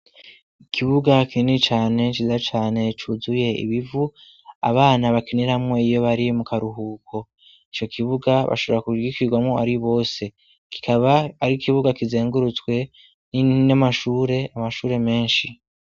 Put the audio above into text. Ikibuga kini cane ciza cane cuzuye ibivu abana bakiniramwo iyo bari mu karuhuko ico kibuga bashobora kugikirwamwo ari bose kikaba ari ikibuga kizengurutswe n'amashure amashure meshi.